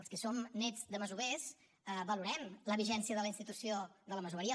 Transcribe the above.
els que som néts de masovers valorem la vigència de la institució de la masoveria